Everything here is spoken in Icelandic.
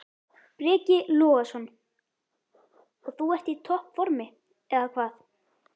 Breki Logason: Og þú ert í topp formi, eða hvað?